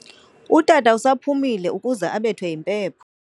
Utata usaphumile ukuze abethwe yimpepho.